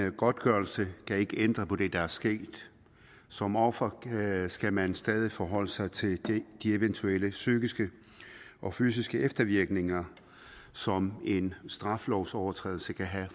en godtgørelse kan ikke ændre på det der er sket som offer skal man stadig forholde sig til de eventuelle psykiske og fysiske eftervirkninger som en straffelovsovertrædelse kan have